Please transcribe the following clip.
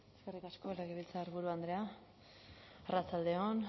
eskerrik asko legebiltzarburu andrea arratsalde on